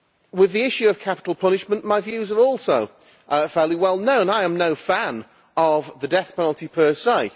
With the issue of capital punishment, my views are also fairly well known I am no fan of the death penalty per se.